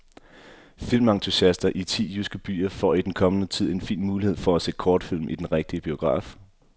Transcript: Filmentusiaster i ti jyske byer får i den kommende tid en fin mulighed for at se kortfilm i den rigtige biograf.